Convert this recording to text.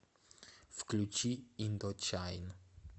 включи индочайн